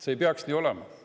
See ei peaks nii olema.